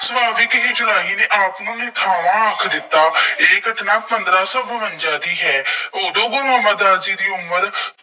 ਸੁਭਾਵਿਕ ਇੱਕ ਰਾਹੀ ਨੇ ਆਤਮਾ ਨੇ ਨਿਥਾਵਾਂ ਆਖ ਦਿੱਤਾ। ਇਹ ਘਟਨਾ ਪੰਦਰਾਂ ਸੌ ਬਵੰਜ਼ਾ ਦੀ ਹੈ। ਉਦੋਂ ਗੁਰੂ ਅਮਰਦਾਸ ਜੀ ਦੀ ਉਮਰ